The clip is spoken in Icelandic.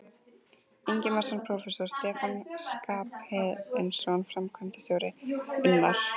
Ingimarsson prófessor, Stefán Skarphéðinsson framkvæmdastjóri, Unnar